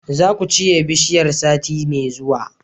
zakucire bishiyar sati me zuwa